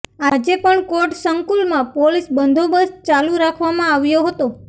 આજે પણ કોર્ટ સંકુલમાં પોલીસ બંદોબસ્ત ચાલુ રાખવામાં આવ્યો હતો